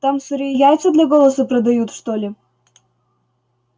там сырые яйца для голоса продают что ли